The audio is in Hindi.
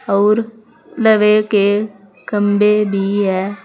और लवेके खंबे भी है।